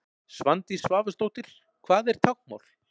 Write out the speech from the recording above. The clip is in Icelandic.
Svandís Svavarsdóttir Hvað er táknmál?